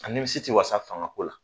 A nimisi tɛ wasa fangako la.